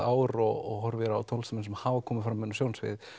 ár og horfir á tónlistarmenn sem hafa komið inn á sjónarsviðið